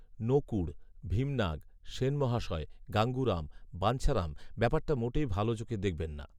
নকূড়, ভীমনাগ, সেনমহাশয়, গাঙ্গুরাম, বাঞ্ছারাম ব্যাপারটা মোটেই ভাল চোখে দেখবেন না